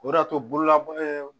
O de y'a to bolola